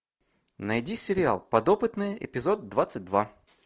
найди сериал подопытные эпизод двадцать два